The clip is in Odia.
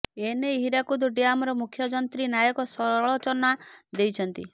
ଏନେଇ ହୀରାକୁଦ ଡ୍ୟାମର ମୁଖ୍ୟ ଯନ୍ତ୍ରୀ ନାୟକ ସଳଚନା ଦେଇଛନ୍ତି